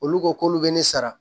Olu ko k'olu bɛ ne sara